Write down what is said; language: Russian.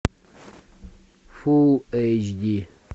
фул эйч ди